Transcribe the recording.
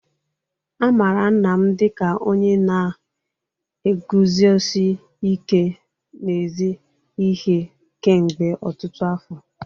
A maara nna m dịka onye na-eguzosi ike n'ezi ihe kemgbe ọtụtụ afọ.